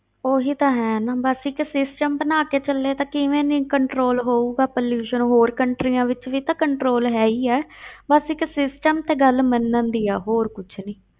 ਉਹੀ ਤਾਂ ਹੈ ਨਾ ਬਸ ਇੱਕ system ਬਣਾ ਕੇ ਚੱਲੇ ਤਾਂ ਕਿਵੇਂ ਨੀ control ਹੋਊਗਾ pollution ਹੋਰ countries ਵਿੱਚ ਵੀ ਤਾਂ control ਹੈ ਹੀ ਹੈ ਬਸ ਇੱਕ system ਤੇ ਗੱਲ ਮੰਨਣ ਦੀ ਹੈ ਹੋਰ ਕੁਛ ਨੀ।